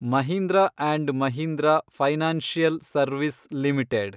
Mahindra and Mahindra financial service limited